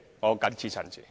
我謹此陳辭。